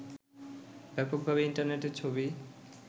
ব্যাপকভাবে ইন্টারনেটের ছবি